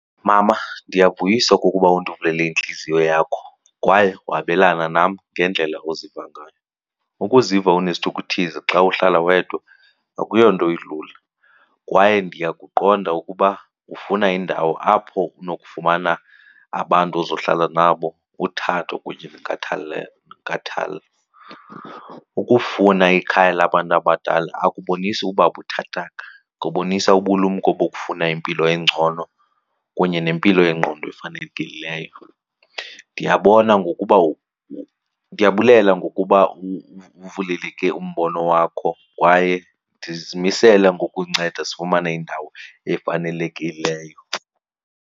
Mama, ndiyavuyisa okokuba undivulele intliziyo yakho kwaye wabelana nam ngendlela oziva ngayo. Ukuziva unesithukuthezi xa uhlala wedwa akuyonto ilula kwaye ndiyakuqonda ukuba ufuna indawo apho unokufumana abantu ozohlala nabo, uthando kunye nenkathalo. Ukufuna ikhaya labantu abadala akubonisi uba buthathaka kubonisa ubulumko bokufuna impilo engcono kunye nempilo yengqondo efanelekileyo. Ndiyabona ngokuba ndiyabulela ngokuba uvaleleke umbono wakho kwaye ndizimisele ngokunceda sifumane indawo efanelekileyo.